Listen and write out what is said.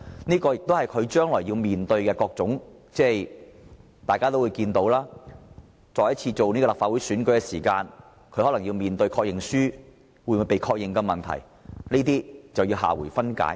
這亦是他將來要面對的種種問題，因為大家也知道，當他再次參選立法會時，可能要面對確認書會否獲確認的問題，而這留待下回分解。